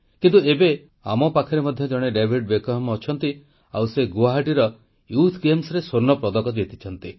କିନ୍ତୁ ଏବେ ଆମ ପାଖରେ ମଧ୍ୟ ଜଣେ ଡାଭିଡ ବେକହାମ ଅଛନ୍ତି ସେ ଗୁଆହାଟୀର ଯୁବ କ୍ରୀଡ଼ାରେ ସ୍ୱର୍ଣ୍ଣପଦକ ଜିତିଛନ୍ତି